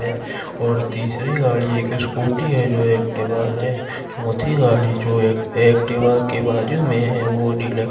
है और तीसरी गाड़ी एक स्कूटी है जो एक्टिवा है चौथी गाड़ी जो है एक एक्टिवा के बाजू में है वो डील--